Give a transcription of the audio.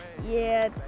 ég